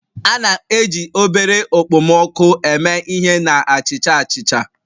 A na-eji obere okpomọkụ eme ihe na achicha achicha